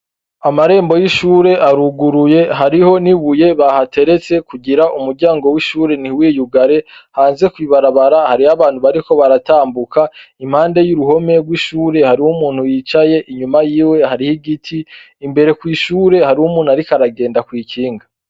Amarembo y'ishure aruguruye, hariho nibuye bahateretse kugira umuryango wishure ntimuyigure hanze kwibarabara hari abantu bariko baratambuka, impande yuruhome rwishure hari umuntu yicaye, mbere y'ishure hari umuntu ariko aragenda kwikinga.